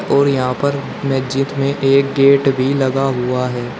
और यहां पर मस्जिद में एक गेट भी लगा हुआ है।